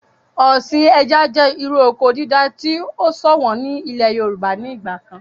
Ọ̀sìn ẹja jẹ́ irú oko dídá tí o ṣọ̀wọ̀n ní ilẹ̀ yorùbá ní ìgbà kan